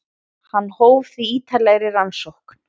Hann hóf því ítarlegri rannsókn.